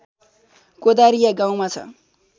कोदारिया गाउँमा छ